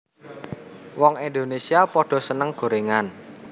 Wong Indonesia podo seneng gorengan